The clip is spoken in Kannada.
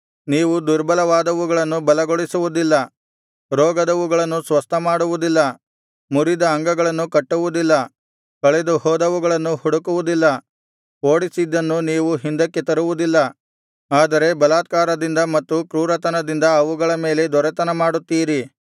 ನೀವು ದುರ್ಬಲವಾದವುಗಳನ್ನು ಬಲಗೊಳಿಸುವುದಿಲ್ಲ ರೋಗದವುಗಳನ್ನು ಸ್ವಸ್ಥಮಾಡುವುದಿಲ್ಲ ಮುರಿದ ಅಂಗಗಳನ್ನು ಕಟ್ಟುವುದಿಲ್ಲ ಕಳೆದು ಹೋದವುಗಳನ್ನು ಹುಡುಕುವುದಿಲ್ಲ ಓಡಿಸಿದನ್ನು ನೀವು ಹಿಂದಕ್ಕೆ ತರುವುದಿಲ್ಲ ಆದರೆ ಬಲಾತ್ಕಾರದಿಂದ ಮತ್ತು ಕ್ರೂರತನದಿಂದ ಅವುಗಳ ಮೇಲೆ ದೊರೆತನ ಮಾಡುತ್ತೀರಿ